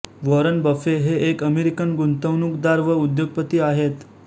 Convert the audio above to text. Warren Buffett हे एक American गुंतवणूकदार व उद्योगपती आहेत